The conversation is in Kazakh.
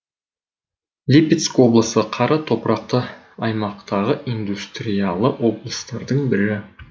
липецк облысы қара топырақты аймақтағы индустриялы облыстардың бірі